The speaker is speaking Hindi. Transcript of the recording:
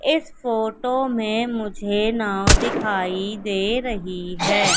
इस फोटो में मुझे नाव दिखाई दे रही हैं।